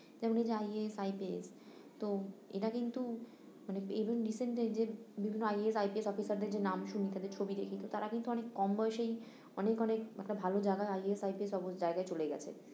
যেমন ওই IASIPS তো এরা কিন্তু মানে even recently যে বিভিন্ন IASIPS officer দের যে নাম শুনি তাদের ছবি তো তারা কিন্তু অনেক কম বয়সেই অনেক অনেক একটা ভালো জায়গার idea জায়গায় চলে গেছে